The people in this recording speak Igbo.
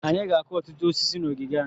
Anyị ga-akụ ọtụtụ osisi na ogige anyị.